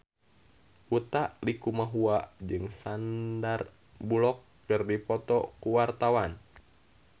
Utha Likumahua jeung Sandar Bullock keur dipoto ku wartawan